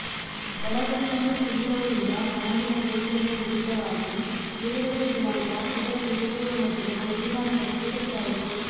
ಒಳಗುಟ್ಟನ್ನು ತಿಳಿದವರಿಂದ ಬ್ಯಾಂಡಿನ ಯೋಚನೆಯ ವಿರುದ್ಧವಾಗಿ ಬಿಡುಗಡೆಯ ದಿನಾಂಕ ಇದರ ಬಿಡುಗಡೆಯ ಮೊದಲು ಅಭಿಮಾನಿಗಳಿಗೆ ಗೊತ್ತಾಯಿತು